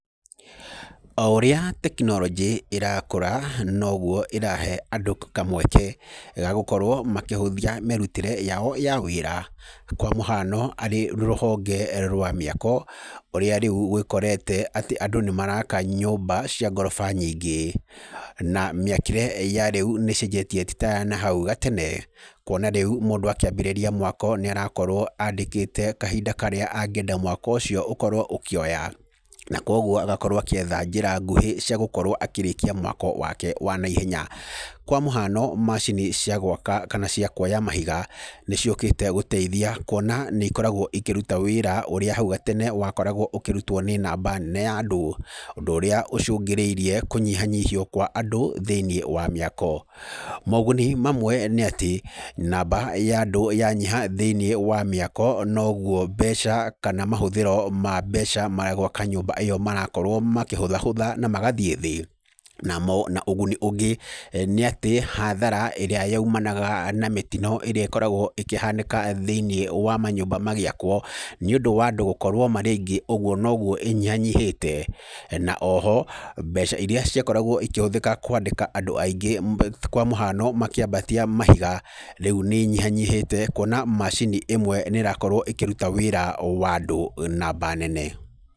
O ũrĩa tekinoronjĩ ĩrakũra noguo ĩrahe andũ kamweke ga gũkorwo makĩhũthia mĩrutĩre yao ya wĩra. Kwa mũhano arĩ rũhonge rwa mĩako ũrĩa rĩu ũgĩkorete atĩ andũ nĩ maraka nyũmba cia ngoroba nyingĩ. Na mĩakĩre ya rĩu nĩ icenjetie ti ta ya nahau gatene. Kũona rĩu mũndũ akĩambĩrĩria mwako nĩ arakorwo andĩkĩte kahinda karĩa angĩenda mwako ũcio ũkorwo ũkĩoya. Na kwoguo agakorwo agĩetha njĩra nguhĩ cia gũkorwo akĩrĩkia mwako wake wa naihenya. Kwa mũhano macini cia gwaka kana cia kuoya mahiga nĩ ciũkĩte gũteithia kuona nĩ ikoretwo ikĩruta wĩra ũrĩa hau gatene wakoragwo ũkĩrutwo nĩ namba nene ya andũ. Ũndũ ũria ũcũngĩrĩirie kũnyihanyihio kwa andũ thĩinĩ wa mĩako. Moguni mamwe nĩ atĩ namba ya andũ yanyiha thĩinĩ wa mĩako noguo mbeca kana mahũthĩro ma mbeca ma gwaka nyũmba ĩyo marakorwo makĩhũthahũtha na magathiĩ thĩ. Namo na ũguni ũngĩ nĩ atĩ hathara ĩrĩa yoimanaga na mĩtino ĩrĩa ĩkoragwo ĩkĩhanĩka thĩnĩ wa manyũmba magĩakwo, nĩ ũndũ wa andũ gũkorwo marĩ aingĩ, ũguo noguo ĩnyihanyihĩte. Na o ho mbeca irĩa ciakoragwo íkĩhũthĩka kũandĩka andũ aingĩ kwa mũhano makĩambatia mahiga, rĩu nĩ inyihanyihĩte kuona macini ĩmwe nĩ ĩrakorwo ĩkĩruta wĩra wa andũ namba nene.